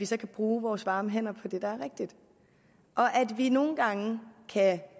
så at bruge vores varme hænder på det der er rigtigt at vi nogle gange kan